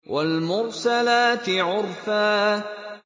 وَالْمُرْسَلَاتِ عُرْفًا